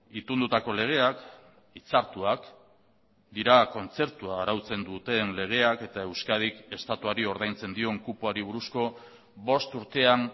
itundutako legeak hitzartuak dira kontzertua arautzen duten legeak eta euskadik estatuari ordaintzen dion kupoari buruzko bost urtean